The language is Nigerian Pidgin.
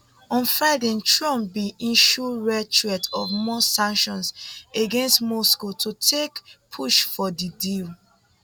on friday trump bin issue rare threat of more sanctions against moscow to take push for di deal